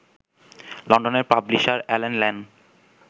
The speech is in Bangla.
লণ্ডনের পাব্লিশার অ্যালেন লেন